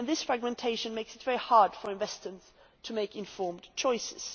This fragmentation makes it very hard for investors to make informed choices.